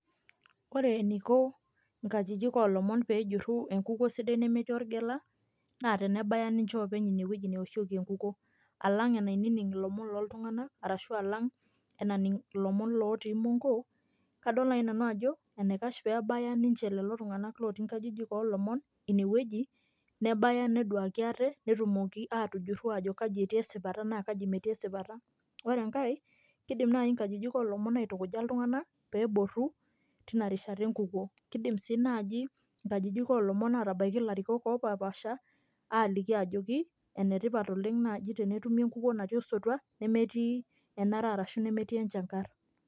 Ore eniko nkajijik oolomon pee ejurru enkukuo sidai nemetii olgela naa tenebaya ninche openy ine wueji neoshieki enkukuo alang' enaining' ilomon loltung'anak ashu alang' enaning' ilomon ootii imongo kadol naai nanu ajo enaikash pee ebaya lelo tung'anak ootii nkajijik oolomon inewueji nebaya neduaki ate netumoki aatujuru aajo kaai etii esipata naa kaji metii esipata, ore enkae kiidim naai inkajijik oolomon aitukuja iltung'anak pee eborru iltung'anak tina rishata enkukuo kiidim sii naaji inkajijik oolomon aatabaiki ilarikok opashipaasha aaliki ajoki enetipat tenetumi enkukuo natii osotua nemetii enara arashu nemetii enchangarr.